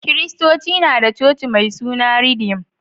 Kiristoci na da coci mai suna ridim